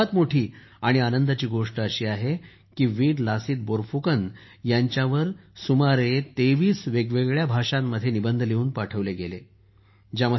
आणि सर्वात मोठी आणि आनंदाची गोष्ट ही आहे की वीर लसीत बोरफुकन यांच्यावर सुमारे 23 वेगवेगळ्या भाषांमध्ये निबंध लिहून पाठवले गेले आहेत